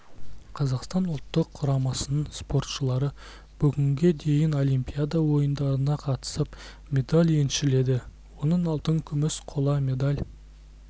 қазақстан ұлттық құрамасының спортшылары бүгінге дейін олимпиада ойындарына қатысып медаль еншіледі оның алтын күміс қола медаль